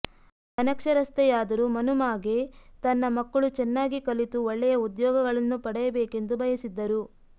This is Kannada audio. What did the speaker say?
ಅನಕ್ಷರಸ್ಥೆಯಾದರೂ ಮನ್ಹುಮಾಗೆ ತನ್ನ ಮಕ್ಕಳು ಚೆನ್ನಾಗಿ ಕಲಿತು ಒಳ್ಳೆಯ ಉದ್ಯೋಗಗಳನ್ನು ಪಡೆಯಬೇಕೆಂದು ಬಯಸಿದ್ದರು